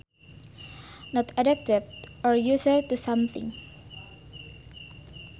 Not adapted or used to something